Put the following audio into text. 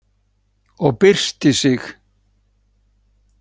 Og byrstir sig.